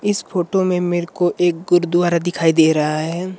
इस फोटो में मेरे को एक गुरुद्वारा दिखाई दे रहा है।